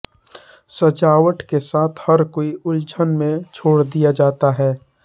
सजावट के साथ हर कोई उलझन में छोड़ दिया जाता है